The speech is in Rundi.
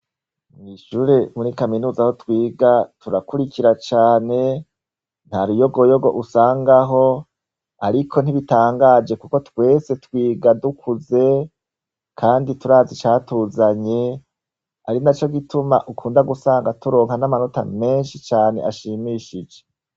Mwishure kuri kaminuza aho twiga turakwirikira cane ntaruyogoyogo usangaho ariko ntibitangaje kuko twese twiga dukuze kandi turazi icatuzanye arinaco gituma ukunda gusanga turonka n'amanota menshi cane ashimishije.